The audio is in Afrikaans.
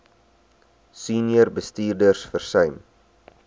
senior bestuurders versuim